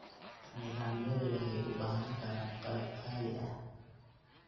Nidaamyadu waxay u baahan karaan qalab qaali ah.